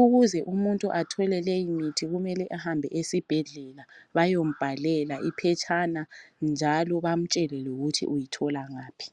ukuze umuntu athole leyi mithi kumele umuntu ahambe esibhedlela bayombhalela iphetshana njalo bamtshele lokuthi uyathola ngaphi.